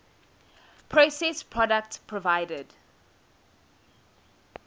processed products provided